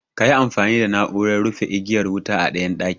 Kayi amfani da na'uran rufe igiyar wuta a ɗayan ɗakin